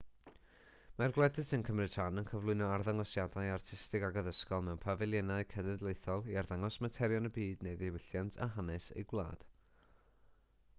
mae'r gwledydd sy'n cymryd rhan yn cyflwyno arddangosiadau artistig ac addysgol mewn pafiliynau cenedlaethol i arddangos materion y byd neu ddiwylliant a hanes eu gwlad